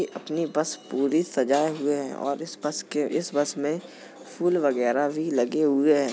ये अपनी बस पूरी सजाये हुए हैं और इस बस के इस बस में फूल वगैरा भी लगे हुए हैं।